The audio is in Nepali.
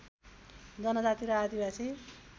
जनजाति र आदिवासी